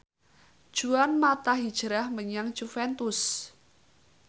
Juan mata hijrah menyang Juventus